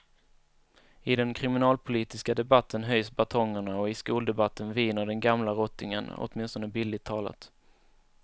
I den kriminalpolitiska debatten höjs batongerna och i skoldebatten viner den gamla rottingen, åtminstone bildligt talat.